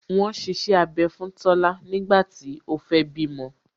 Wọn ṣiṣẹ́ abẹ fún Tola nígbà tí ó fẹ́ bímọ